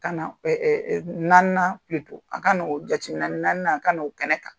Ka na naaninan ka n'o jateminɛ naani a ka n'o kɛnɛ kan